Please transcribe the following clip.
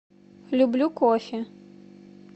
люблю кофе